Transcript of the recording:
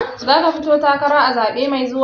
Zaka fito takara a zaɓe mai zuwa?